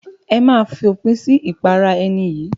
Ẹ máa fòpin sí ìpara ẹni yìí.